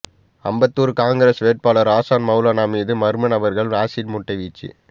அம்பத்தூர் காங்கிரஸ் வேட்பாளர் அசன் மவுலானா மீது மர்மநபர்கள் ஆசிட்முட்டை வீச்சு